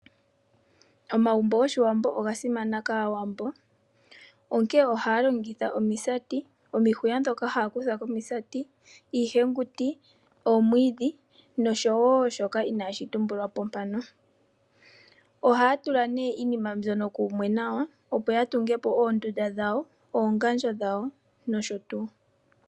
Omagumbo goshiwambo oga simana kaawambo, onkee ohaya longitha omisati, omihuya dhoka haya kutha komisati, iihenguti, oomwidhi nosho shoka inashi tumbulwapo mpaka. Ohay tula ne iinima mbyoka kumwe nawa, opo ya tungepo oondunda dhawo, oongadjo dhawo nosho tuu.